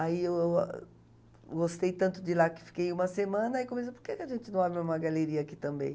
Aí eu gostei tanto de lá que fiquei uma semana e comecei, por que a gente não abre uma galeria aqui também?